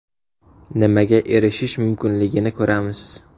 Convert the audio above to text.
Nimaga erishish mumkinligini ko‘ramiz.